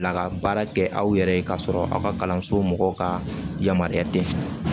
Laka baara kɛ aw yɛrɛ ye k'a sɔrɔ aw ka kalanso mɔgɔw ka yamaruya den